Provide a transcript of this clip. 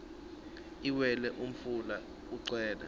liwela umfula ugcwele